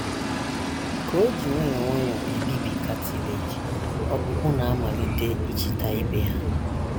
Ka o ji nwayọọ nwayọọ ebibi cartilage, ọkpụkpụ na - amalite ichita ibe ha.